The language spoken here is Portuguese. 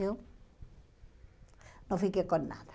Eu não fiquei com nada.